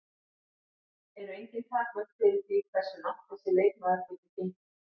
Eru engin takmörk fyrir því hversu langt þessi leikmaður getur gengið?